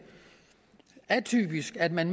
atypisk at man